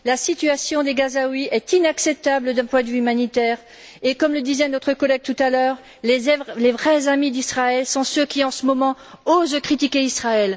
La situation des Gazaouis est inacceptable d'un point de vue humanitaire et, comme le disait notre collègue tout à l'heure, les vrais amis d'Israël sont ceux qui, en ce moment, osent critiquer Israël.